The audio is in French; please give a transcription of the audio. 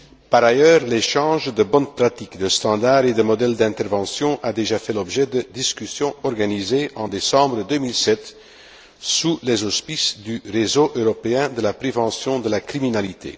Par ailleurs, l'échange de bonnes pratiques, de standards et de modèles d'intervention a déjà fait l'objet de discussions organisées en décembre 2007, sous les auspices du réseau européen de la prévention de la criminalité.